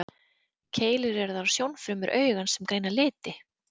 Keilur eru þær sjónfrumur augans sem greina liti.